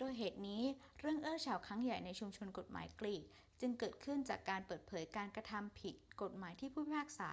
ด้วยเหตุนี้ เรื่องอื้อฉาวครั้งใหญ่ในชุมชนกฎหมายกรีกจึงเกิดขึ้นจากการเปิดเผยการกระทำผิดกฎหมายที่ผู้พิพากษา